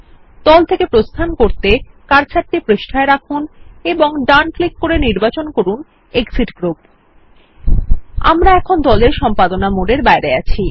দল থেকে প্রস্থান করতে কার্সারটি পৃষ্ঠায় রাখুন এবং ডান ক্লিক করে নির্বাচন করুন এক্সিট গ্রুপ আমরা এখন দল এর সম্পাদনা মোড এর বাইরে আছি